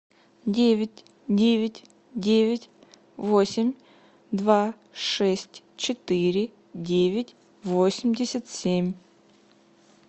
девять девять девять восемь два шесть четыре девять восемьдесят семь